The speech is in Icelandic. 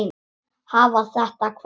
Hafa þetta hvað?